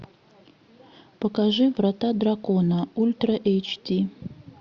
покажи врата дракона ультра эйч ди